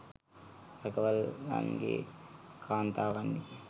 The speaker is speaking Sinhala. රැකවල්ලන්ගේ කාන්තාවන්ය.